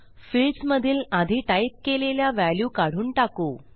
fields मधील आधी type केलेल्या व्हॅल्यू काढून टाकू